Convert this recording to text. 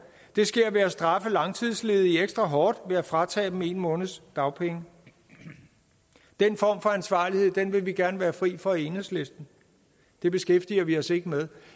det sker ved at straffe langtidsledige ekstra hårdt ved at fratage dem en måneds dagpenge den form for ansvarlighed vil vi gerne være fri for i enhedslisten det beskæftiger vi os ikke med